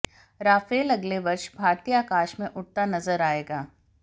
Rafale अगले वर्ष भारतीय आकाश में उड़ता नजर आएगा